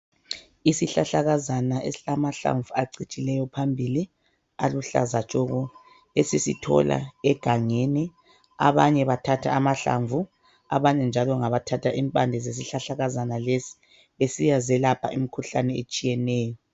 Isihlahlakazana esilamahlamvu acijileyo phambili, aluhlaza tshoko, esisithola egangeni, abanye bathatha amahlamvu, abanye njalo ngabathatha impande zesihlahlakazana lesi besiyazelapha imikhuhlane etshiyeneyo.